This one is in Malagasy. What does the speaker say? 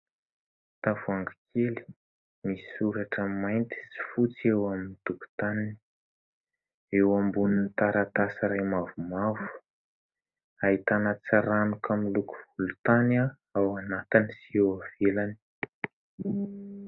Tavoahangy kely misy soratra mainty sy fotsy eo amin'ny tokotaniny. Eo ambonin'ny taratasy iray mavomavo, ahitana tsiranoka miloko volontany ao anatiny sy eo ivelany.